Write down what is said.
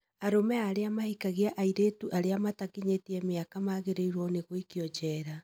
Arũme arĩa mahikagia airĩtu arĩa matakinyĩtie mĩaka magĩrĩirwo nĩ gũikio njera